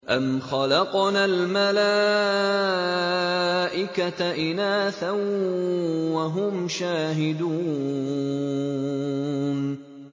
أَمْ خَلَقْنَا الْمَلَائِكَةَ إِنَاثًا وَهُمْ شَاهِدُونَ